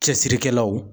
Cɛsirikɛlaw